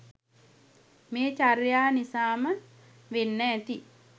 මේ චර්යා නිසාම වෙන්න ඇති